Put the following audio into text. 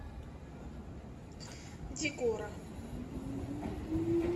дигора